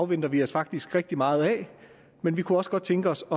venter vi os faktisk rigtig meget af men vi kunne også godt tænke os